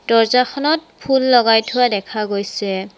দৰ্জ্জাখনত ফুল লগাই থোৱা দেখা গৈছে।